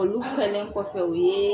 Olu finɛ kɔfɛ u yee